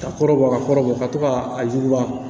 Ka kɔrɔ bɔ ka kɔrɔ bɔ ka to ka a ɲuguba